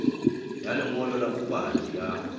ya lengolo la bopaki la